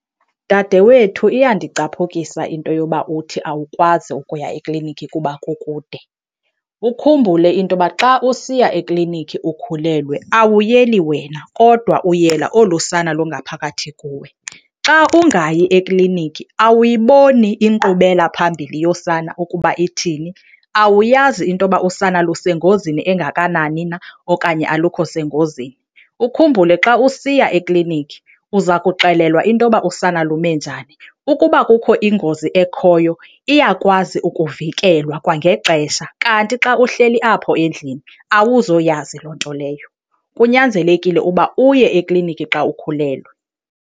Dade wethu iyandicapukisa into yoba uthi awukwazi ukuya eklinikhi kuba kukude. Ukhumbule into yoba xa usiya eklinikhi ukhulelwe awuyeli wena kodwa uyela olu sana lungaphakathi kuwe. Xa ungayi ekliniki awuyiboni inkqubela phambili yosana ukuba ithini, awuyazi into yoba usana lusengozini engakanani na okanye alukho sengozini. Ukhumbule, xa usiya ekliniki uza kuxelelwa into yoba usana lume njani. Ukuba kukho ingozi ekhoyo iyakwazi ukuvikelwa kwangexesha, kanti xa uhleli apho endlini awuzoyazi loo nto leyo. Kunyanzelekile uba uye ekliniki xa ukhulelwe.